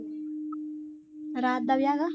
ਰਾਤ ਦਾ ਵਿਆਹ ਵਾ